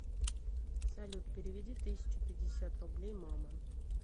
салют переведи тысячу пятьдесят рублей мама